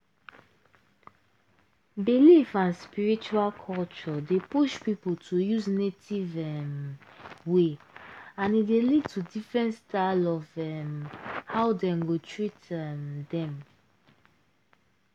belief and spiritual culture dey push people to use native um way and e dey lead to different style of um hoe dem go treat um dem.